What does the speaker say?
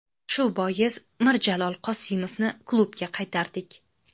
Shu bois Mirjalol Qosimovni klubga qaytardik.